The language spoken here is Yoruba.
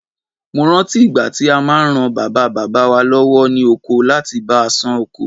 Mo rántí ìgbà tí a máa ran Bàbá bàbá wa lọ́wọ́ ní oko láti bá a ṣán ko.